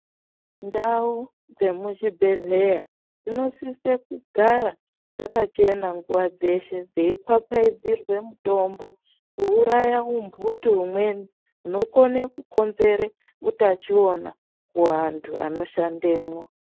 Ndau dzemuzvibhedhlera dzinosisa kugara dzakachena nguwa dzeshe dzeifapfadzirwa mitombo kuuraya utungu umweni hunokona kukonzera utachiwona kuvanhu vanoshandemwo.